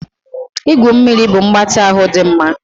Igwu mmiri bụ mgbatị ahụ dị mma